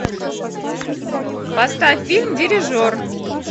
поставь фильм дирижер